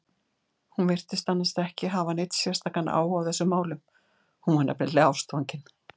Hún virtist annars ekki hafa neinn sérstakan áhuga á þessum málum, hún var nefnilega ástfangin.